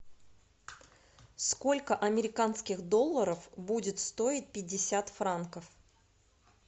сколько американских долларов будет стоить пятьдесят франков